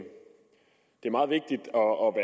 og